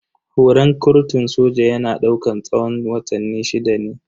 Horan kurtun soja yana daukan tsawon watanni shida ne.